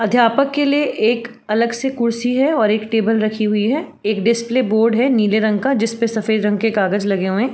अध्यापक के लिए एक अलग से कुर्सी है और एक टेबल रखी हुई है। एक डिस्प्ले बोर्ड है नीले रंग का जिसपे सफ़ेद रंग के कागज लगे हुए हैं।